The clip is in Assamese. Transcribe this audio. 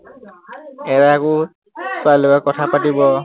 এটাই আকৌ ছোৱালীৰ কথা পাতিব